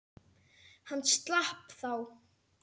Hann slapp þá.